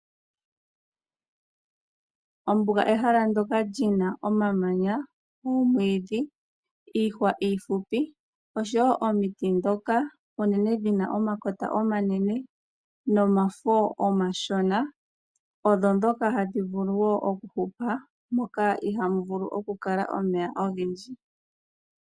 Ombuga ehala ndyoka li na omamanya , omwiidhi, iihwa iifupi oshowo omiti ndhoka unene dhi na omakota omanene nomafo omashona odho ndhoka hadhi vulu wo okuhupa moka iha mu vulu okukala omeya ogendji.